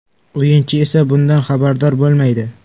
O‘yinchi esa bundan xabardor bo‘lmaydi.